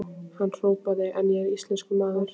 Hann hrópaði: En ég er íslenskur maður!